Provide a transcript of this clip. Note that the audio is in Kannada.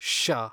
ಷ